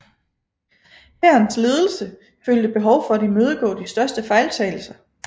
Hærens ledelse følte behov for at imødegå de største fejltagelser